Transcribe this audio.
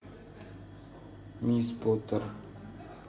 мисс поттер